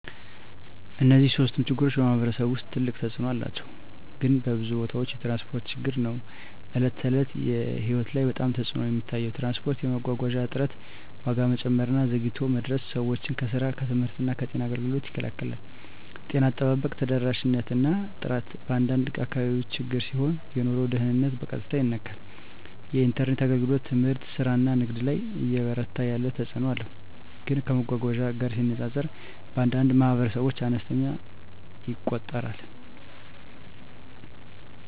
እነዚህ ሶስቱም ችግሮች በማኅበረሰብ ውስጥ ትልቅ ተፅእኖ አላቸው፣ ግን በብዙ ቦታዎች የትራንስፖርት ችግር ነው በዕለት ተዕለት ሕይወት ላይ በጣም ተፅዕኖ የሚታየው። ትራንስፖርት የመጓጓዣ እጥረት፣ ዋጋ መጨመር እና ዘግይቶ መድረስ ሰዎችን ከስራ፣ ከትምህርት እና ከጤና አገልግሎት ይከላከላል። ጤና አጠባበቅ ተደራሽነት እና ጥራት በአንዳንድ አካባቢዎች ችግር ሲሆን የኑሮ ደህንነትን በቀጥታ ይነካል። የኢንተርኔት አገልግሎት ትምህርት፣ ስራ እና ንግድ ላይ እየበረታ ያለ ተፅእኖ አለው፣ ግን ከመጓጓዣ ጋር ሲነጻጸር በአንዳንድ ማኅበረሰቦች አነስተኛ ይቆጠራል።